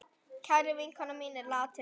Kær vinkona mín er látin.